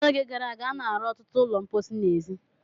N'oge gara aga, a na-arụ ọtụtụ ụlọ mposi n'èzí.